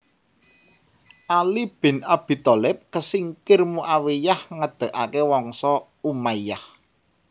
Ali bin Abi Thalib kesingkir Muawiyyah ngedegaké Wangsa Umayyah